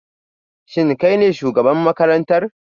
Shin kai ne shugaban makarantar?